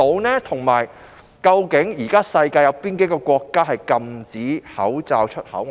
此外，主席，究竟現時世界有哪幾個國家禁止口罩出口？